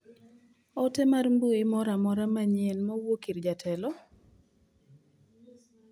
Ote mar mbui moro amora manyien ma owuok ir jatelo?